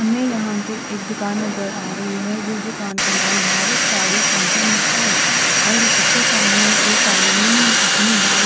हमे यहाँ पे एक दूकान नज़र आरी है जिस दूकान का नाम भारत साडी सेण्टर है और उसके सामने एक आदमी अपनी बाइक --